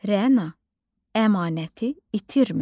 Rəna əmanəti itirmə.